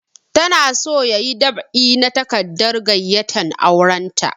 Ta na so ya yi dab'i na takardar gayyatan auren ta